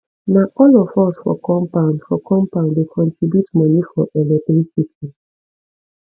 na all of us for compound for compound dey contribute moni for electricity